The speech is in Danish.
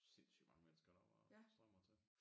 Sindssygt mange mennesker der bare strømmer til